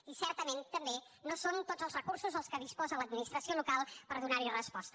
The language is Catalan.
i certament també no són tots els recursos els que disposa l’administració local per donar hi resposta